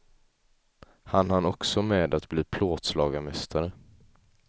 Han hann också med att bli plåtslagarmästare.